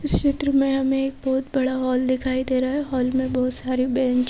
इस चित्र में हमें एक बहुत बड़ा हॉल दिखाई दे रहा है हॉल में बहुत सारे पै--